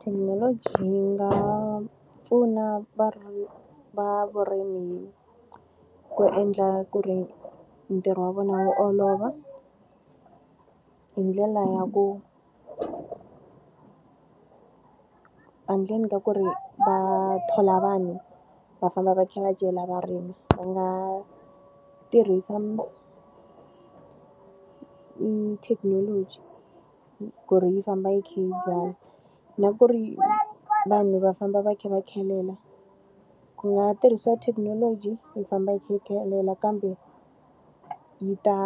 Thekinoloji yi nga pfuna va va vurimi ku endla ku ri ntirho wa vona wu olova, hi ndlela ya ku endleni ka ku ri va thola vanhu va famba va kha va cela va rima, va nga tirhisa thekinoloji ku ri yi famba yi kha yi byala. Na ku ri vanhu va famba va kha va khelela, ku nga tirhisiwa thekinoloji yi famba yi kha yi khelela kambe yi ta